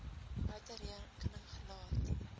buite rekening gelaat